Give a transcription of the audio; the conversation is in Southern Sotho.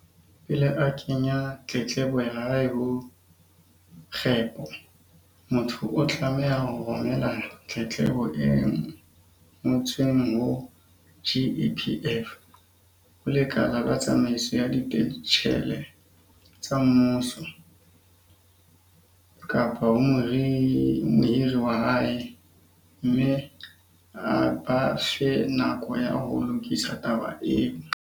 Pele a kenya tletlebo ya hae ho GEPO, motho o tlameha ho romela tletlebo e ngo tsweng ho GEPF, ho Lekala la Tsamaiso ya Dipentjhele tsa Mmuso, GPAA, kapa ho mohiri wa hae, mme a ba fe nako ya ho lokisa taba eo.